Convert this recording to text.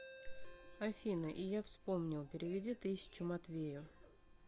афина и я вспомнил переведи тысячу матвею